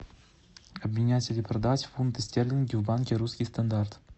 обменять или продать фунты стерлинги в банке русский стандарт